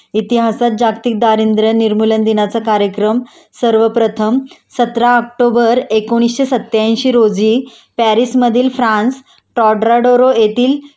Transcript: इतिहासात जागतिक दारिद्र्य निर्मूलन दिनाचा कार्यक्रम सर्व प्रथम सतरा ऑक्टोबर एकोणीशे सत्यांशी रोजी पॅरिस मधील फ्रान्स टोडरोडरो येथील